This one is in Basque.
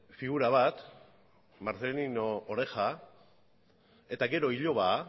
figura bat marcelino oreja eta gero iloba